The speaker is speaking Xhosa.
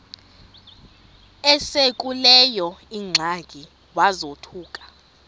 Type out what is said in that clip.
esekuleyo ingxaki wazothuka